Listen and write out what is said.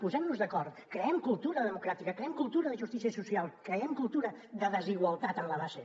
posem nos d’acord creem cultura democràtica creem cultura de justícia social creem cultura de desigualtat en la base